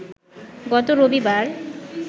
গত রবিবার